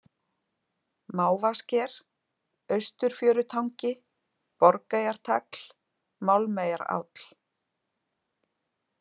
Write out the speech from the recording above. Mávasker, Austurfjörutangi, Borgeyjartagl, Málmeyjaráll